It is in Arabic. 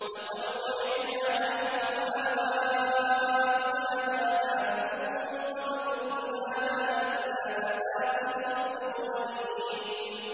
لَقَدْ وُعِدْنَا نَحْنُ وَآبَاؤُنَا هَٰذَا مِن قَبْلُ إِنْ هَٰذَا إِلَّا أَسَاطِيرُ الْأَوَّلِينَ